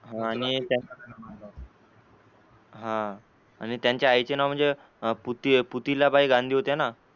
हा आणि त्यांच्या आईचे नाव म्हणजे पुती पुतीलाबाई गांधी होत्या ना?